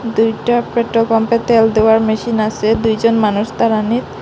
দুইটা পেট্রোল পাম্পে তেল দেওয়ার মেশিন আসে দুইজন মানুষ দাঁড়ানিত ।